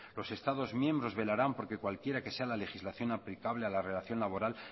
los estados miembros velarán porque cualquiera que sea la legislación aplicable a la relación laboral